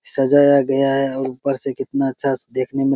सजाया गया है और ऊपर से कितना अच्छा स देखने में --